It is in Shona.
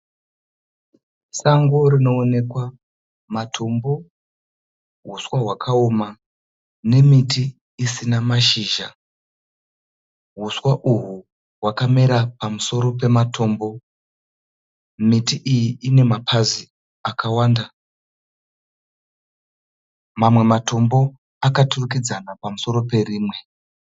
Sango rinoonekwa matombo, huswa hwakaoma nemiti isina mashizha. Huswa uhwu hwakamera pamusoro pematombo. Miti iyi inemapazi akawanda. Mamwe matombo akaturikidzana pamusoro perimwe.